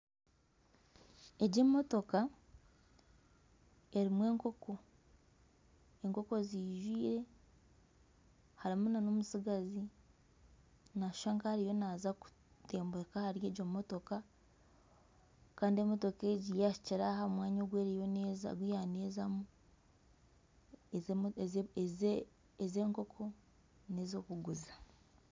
Egi emotoka erimu enkoko. Enkoko zijwire, harimu na n'omutsigazi nashusha nk'ariyo naza kutemburuka ahari egi emotoka Kandi emotoka egi yahikire aha mwanya ogu yaba nezamu. Ezi enkoko n'ezokuguza.